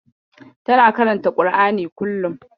Tana karanta ƙur'ani kullum.